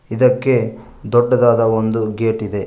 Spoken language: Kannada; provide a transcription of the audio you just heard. ಇದಕ್ಕೆ ದೊಡ್ಡದಾದ ಒಂದು ಗೇಟ್ ಇದೆ.